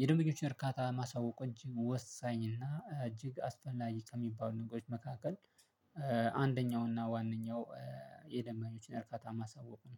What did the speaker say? የደንበኞችን እርካታ ማሳወቁ እጅግ ወሳኝ እና እጅግ አስፈላጊ ከሚባሉት ነገሮች መካከል አንደኛው እና ዋነኛው የደምበኞችን እርካታ ማሳወቅ ነው